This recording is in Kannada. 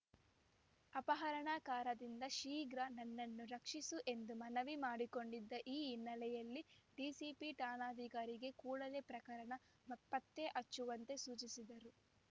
ಅಪಹರಣಕಾರರಿಂದ ಶೀಘ್ರ ನನ್ನನ್ನು ರಕ್ಷಿಸಿ ಎಂದು ಮನವಿ ಮಾಡಿಕೊಂಡಿದ್ದ ಈ ಹಿನ್ನೆಲೆಯಲ್ಲಿ ಡಿಸಿಪಿ ಠಾಣಾಧಿಕಾರಿಗೆ ಕೂಡಲೇ ಪ್ರಕರಣ ಪತ್ತೆ ಹಚ್ಚುವಂತೆ ಸೂಚಿಸಿದ್ದರು